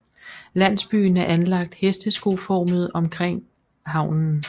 Landsbyen er anlagt hesteskoformet omkring havnen